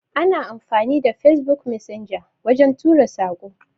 Ana amfani da Facebook messenger wajen tura Sako.